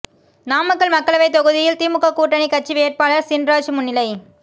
நாமக்கல் மக்களவை தொகுதியில் திமுக கூட்டணி கட்சி வேட்பாளர் சின்ராஜ் முன்னிலை